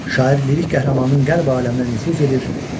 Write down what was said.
Şair lirik qəhrəmanının qəlb aləminə nüfuz edir.